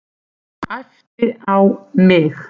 Æpti á mig.